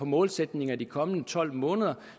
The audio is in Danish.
målsætninger i de kommende tolv måneder